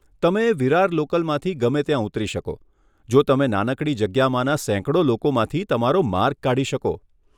તમે વિરાર લોકલમાંથી ગમે ત્યાં ઉતરી શકો, જો તમે નાનકડી જગ્યામાંના સેંકડો લોકોમાંથી તમારો માર્ગ કાઢી શકો.